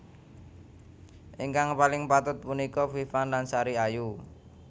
Ingkang paling patut punika Viva lan Sari Ayu